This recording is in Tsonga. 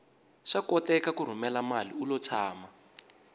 swa koteka ku rhumela mali ulo tshama